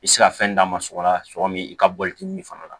I bɛ se ka fɛn d'a ma sɔkɔ la sogo min i ka bɔli kini fana la